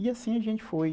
E assim a gente foi.